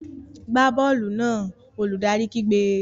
Gbá bọ́ọ̀lù náà! Olùdarí kígbe.